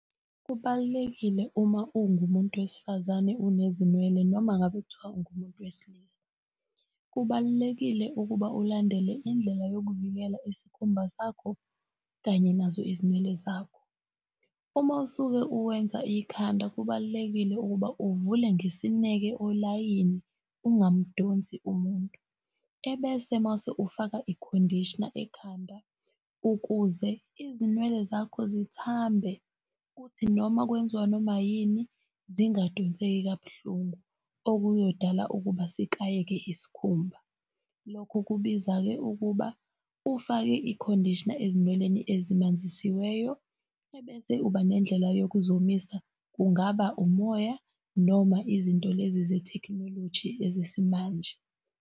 Kubalulekile uma ungumuntu wesifazane unezinwele noma ngabe kuthiwa ungumuntu wesilisa. Kubalulekile ukuba ulandele indlela yokuvikela isikhumba sakho kanye nazo ezinwele zakho. Uma usuke uwenza ikhanda, kubalulekile ukuba uvule ngesineke olayini ungamdonsi umuntu, ebese mase ufaka i-conditioner ekhanda ukuze izinwele zakho zithambe kuthi noma kwenziwa noma yini zingadonseki kabuhlungu, okuyodala ukuba sikayeke isikhumba. Lokho kubiza ke ukuba ufake i-conditioner ezinweleni ezamanzisiweyo ebese uba nendlela yokuzomisa, kungaba umoya noma izinto lezi zethekhinoloji ezesimanje.